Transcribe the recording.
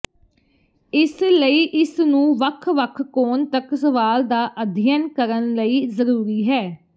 ਇਸ ਲਈ ਇਸ ਨੂੰ ਵੱਖ ਵੱਖ ਕੋਣ ਤੱਕ ਸਵਾਲ ਦਾ ਅਧਿਐਨ ਕਰਨ ਲਈ ਜ਼ਰੂਰੀ ਹੈ